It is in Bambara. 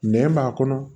Nɛn b'a kɔnɔ